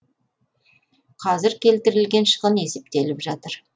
қазір келтірілген шығын есептеліп жатыр